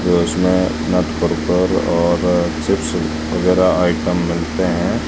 की उसमें और चिप्स कुरकुरे वगैरा आइटम मिलते हैं।